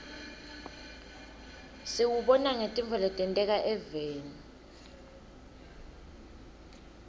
siwubona ngetintfo letenteka eveni